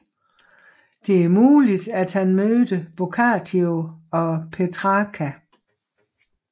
Det er muligt at han mødte Boccaccio og Petrarca